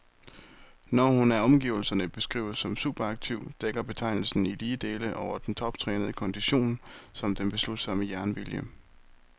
Når hun af omgivelserne beskrives som superaktiv, dækker betegnelsen i lige dele over den toptrænede kondition som den beslutsomme jernvilje.